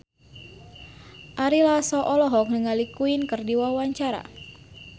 Ari Lasso olohok ningali Queen keur diwawancara